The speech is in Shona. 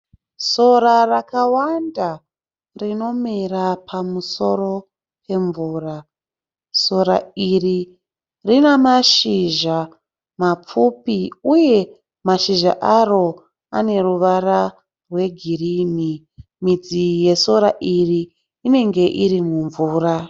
Sora rakawanda rinomera pamusoro pemvura. Sora iri rinamashizha mapfupi uye mashizha Ari aneruvara rwegirini. Midzi yesora iri inenge iri mumvura.